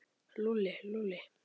Lúlli, Lúlli.